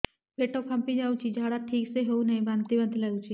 ପେଟ ଫାମ୍ପି ଯାଉଛି ଝାଡା ଠିକ ସେ ହଉନାହିଁ ବାନ୍ତି ବାନ୍ତି ଲଗୁଛି